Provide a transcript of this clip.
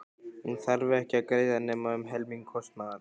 Hún þarf ekki að greiða nema um helming kostnaðar.